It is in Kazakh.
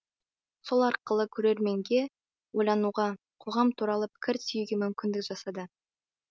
сол арқылы көрерменге ойлануға қоғам туралы пікір түюге мүмкіндік жасады